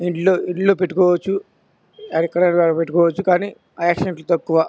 ఇంట్లో ఇంట్లో పెట్టుకోవచ్చు అవి ఎక్కడన్నా పెట్టుకోవచ్చు కానీ ఆక్సిడెంట్ తక్కువ.